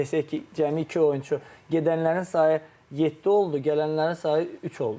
Desək ki, cəmi iki oyunçu gedənlərin sayı yeddi oldu, gələnlərin sayı üç oldu.